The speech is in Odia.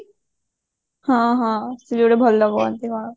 ହଁ ହଁ ସେ ଭଲ କୁହନ୍ତି କଣ